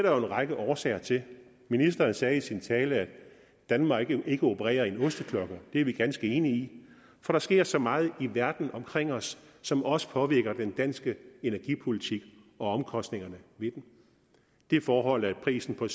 jo en række årsager til ministeren sagde i sin tale at danmark ikke opererer i en osteklokke det er vi ganske enige i for der sker så meget i verden omkring os som også påvirker den danske energipolitik og omkostningerne ved den de forhold at prisen på